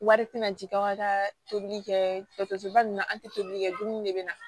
Wari tɛna jigin aw ka taa tobili kɛ tosiba nun na an tɛ tobili kɛ dumuni de bɛ na